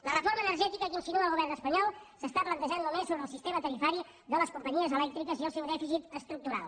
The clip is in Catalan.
la reforma energètica que insinua el govern espanyol s’està plantejant només sobre el sistema tarifari de les companyies elèctriques i el seu dèficit estructural